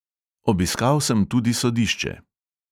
Obiskal sem tudi sodišče.